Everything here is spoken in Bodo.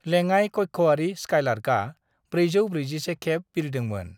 लेङाइ-कक्षआरि स्काईलार्कआ 441 खेब बिरदोंमोन।